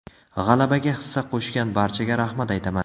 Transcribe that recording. G‘alabaga hissa qo‘shgan barchaga rahmat aytaman.